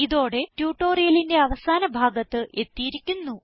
ഇതോടെ ട്യൂട്ടോറിയലിന്റെ അവസാന ഭാഗത്ത് എത്തിയിരിക്കുന്നു